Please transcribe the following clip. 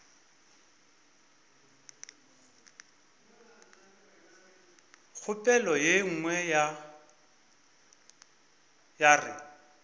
kgopolo ye nngwe ya re